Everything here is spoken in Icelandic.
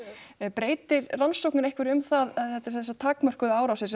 breytir rannsóknin einhverju um það þetta sem sagt takmörkuðu árásir